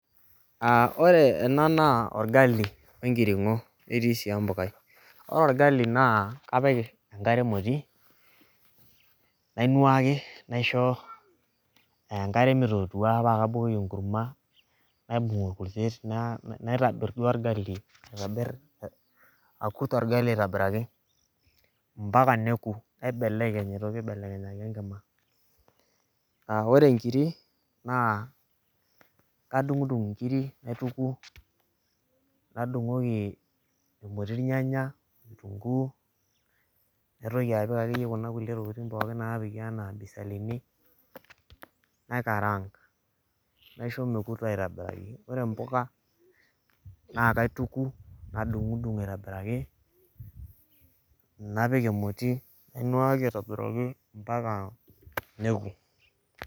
aa ore ena naa orgali wenkiringo netii sii empukai. ore orgali, naa kapik enkare emoti, nainuaki, naisho enkare mitootuaa paa kabukoki enkurma, naibung orkurtet. naitaa duo orgali aitobir akurt ogali aitobiraki, mpaka neku. naibeleny aitoki aibelekenyaki enkima. ore nkiri. naa kadungidung nkiri naituku, nadungoki, irkuti nyanya. kitunkuu. naitoki apik akeyie kuna kulie btokitin pookin napiki anaa bisalini. naikaraank. naisho mekuto aitobiraki. ore mpuka naa kituku. nadungidung aitobiraki, napik emoti, nainuaaki aitobiraki mpaka neku.